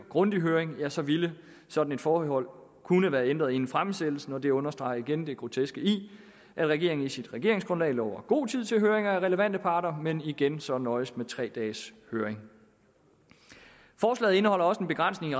grundig høring ja så ville et sådant forhold kunne være ændret inden fremsættelsen og det understreger igen det groteske i at regeringen i sit regeringsgrundlag lover god tid til høringer af relevante parter men igen så nøjes med tre dages høring forslaget indeholder også en begrænsning